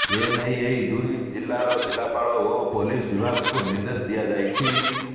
ଏନେଇ ଏହି ଦୁଇ ଜିଲ୍ଲାର ଜିଲ୍ଲାପାଳ ଓ ପୋଲିସ ବିଭାଗକୁ ନିର୍ଦେଶ ଦିଆଯାଇଛି